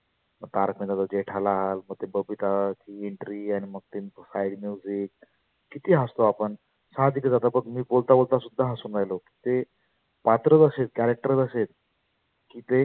तारक मेहतातला जेठालाल, मग ते बबिता entry आणि मग ते हाय किती हसतो आपण सहाजीकच आता बघ मी बोलता बोलता सुद्धा हसु राहिलो मग ते पात्रच असे आहेत character च असे आहेत. की ते